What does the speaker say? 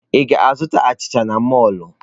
Ị ga-azụta achịcha n'mọlụ?